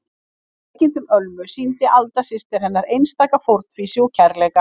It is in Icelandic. Í veikindum Ölmu sýndi Alda systir hennar einstaka fórnfýsi og kærleika.